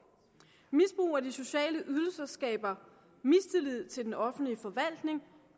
misbrug af de sociale ydelser skaber mistillid til den offentlige forvaltning